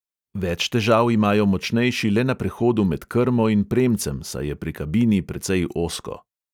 Več težav imajo močnejši le na prehodu med krmo in premcem, saj je pri kabini precej ozko.